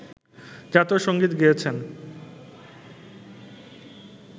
জাতীয় সঙ্গীত গেয়েছেন